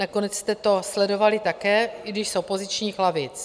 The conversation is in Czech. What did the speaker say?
Nakonec jste to sledovali také, i když z opozičních lavic.